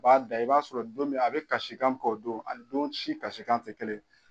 A b'a da i b'a sɔrɔ don min a bɛ kasikan k'o don a don si kasikan tɛ kelen.